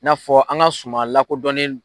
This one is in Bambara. I N'a fɔ an ka suma lakɔdɔnnen